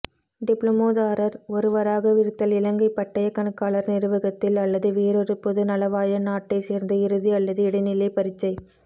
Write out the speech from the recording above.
டிப்ளோமாதாரர் ஒருவராகவிருத்தல் இலங்கைப் பட்டயக் கணக்காளர் நிறுவகத்தில் அல்லது வேறொரு பொதுநலவாய நாட்டைச் சேர்ந்த இறுதி அல்லது இடைநிலைப் பரீட்சை